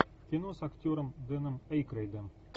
кино с актером дэном эйкройдом